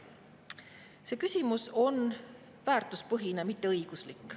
" See küsimus on väärtuspõhine, mitte õiguslik.